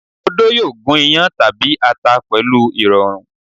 Odó yóò gún iyán tàbí ata pẹ̀lú ìrọ̀rùn.